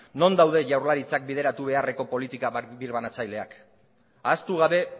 non daude jaurlaritzak bideratu beharreko politika birbanatzaileak ahaztu gabe